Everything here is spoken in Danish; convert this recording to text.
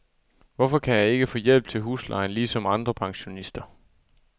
Hvorfor kan jeg ikke få hjælp til huslejen ligesom andre pensionister?